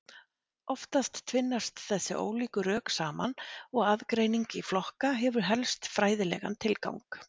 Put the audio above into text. Oftast tvinnast þessi ólíku rök saman og aðgreining í flokka hefur helst fræðilegan tilgang.